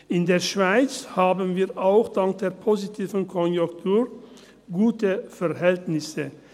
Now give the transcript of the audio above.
In der Schweiz haben wir, auch dank der positiven Konjunktur, gute Verhältnisse.